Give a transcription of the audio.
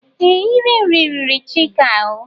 Ee! Iri nri riri Chika ahụ.